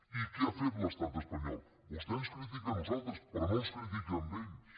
i què ha fet l’estat espanyol vostè ens critica a nosaltres però no els critica a ells